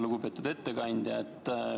Lugupeetud ettekandja!